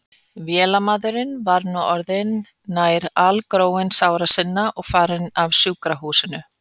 Vélamaðurinn var nú orðinn nær algróinn sára sinna og farinn af sjúkrahúsinu.